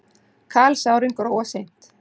Kalsárin gróa seint.